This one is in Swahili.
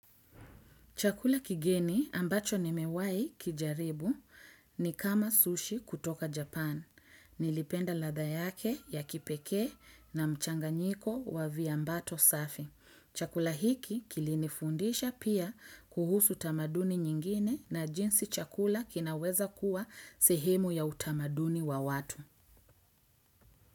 Chakula kigeni ambacho nimewai kijaribu ni kama sushi kutoka Japan. Nilipenda ladha yake ya kipekee na mchanganyiko wa viambato safi. Chakula hiki kilinifundisha pia kuhusu tamaduni nyingine na jinsi chakula kinaweza kuwa sehemu ya utamaduni wa watu.